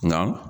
Nka